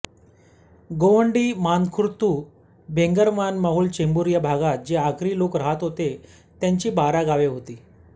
गोवंडी मानखुर्दतुर्भेगवाणमाहूल चेंबूर भागात जे आगरी लोक राहत तेथे त्यांची बारा गावे होती